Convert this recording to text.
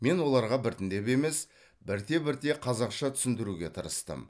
мен оларға біртіндеп емес бірте бірте қазақша түсіндіруге тырыстым